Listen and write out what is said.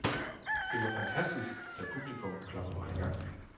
Det var fantastisk, da publikum klappede mig i gang.